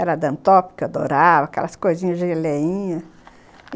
Era dantópica, adorava aquelas coisinhas geleinhas.